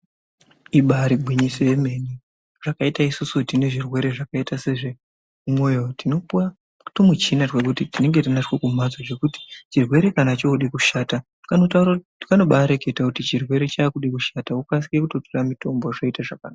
Ibari gwinyiso yemene zvakaita isisu tine zvirwere zvakaita sezvemwoyo tinopuwa twumuchina twekuti tinenge twunacho kumhatso zvekuti chirwere kana chode kushata kanobareketa kuti chirwere chakude kushata wokasire kutotore mutombo zvoita zvakanaka.